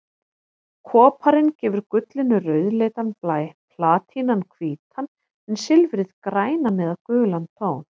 Koparinn gefur gullinu rauðleitan blæ, platínan hvítan en silfrið grænan eða gulan tón.